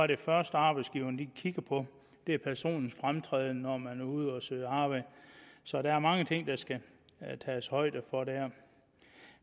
det første arbejdsgiverne kigger på er personlig fremtræden når man er ude at søge arbejde så der er mange ting der skal tages højde for der